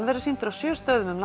verður sýnd á sjö stöðum um